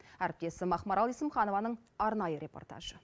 әріптесім ақмарал есімханованың арнайы репортажы